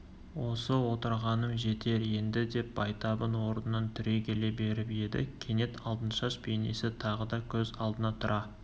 осы отырғаным жетер енді деп байтабын орнынан түрегеле беріп еді кенет алтыншаш бейнесі тағы да көз алдына тұра